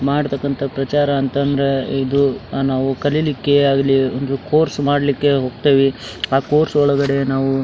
ಮಾಡ್ತಕಂತ ಪ್ರಚಾರ ಅಂತ ಅಂದ್ರೆ ಇದು ನಾವು ಕಲಿಲಿಕ್ಕೆ ಆಗ್ಲಿ ಒಂದು ಕೋರ್ಸ್ ಮಾಡ್ಲಿಕ್ಕೆ ಹೋಗತ್ತೀವಿ ಆ ಕೋರ್ಸ್ ಒಳಗಡೆ ನಾವು --